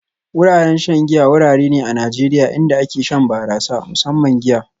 Wuraren shan giya wurare ne a Najeriya inda ake shan barasa, musamman giya